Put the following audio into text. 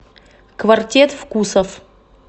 квартет вкусов